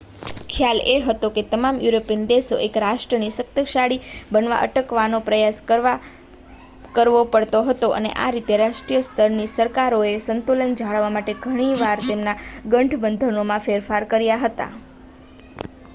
ખ્યાલ એ હતો કે તમામ યુરોપિયન દેશોએ એક રાષ્ટ્રને શક્તિશાળી બનતા અટકાવવાનો પ્રયાસ કરવો પડતો હતો અને આ રીતે રાષ્ટ્રીય સ્તરની સરકારોએ સંતુલન જાળવવા માટે ઘણી વાર તેમના ગઠબંધનોમાં ફેરફાર કર્યા હતા